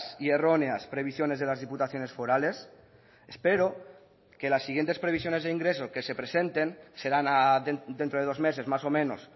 y erróneas previsiones de las diputaciones forales espero que las siguientes previsiones de ingreso que se presenten serán dentro de dos meses más o menos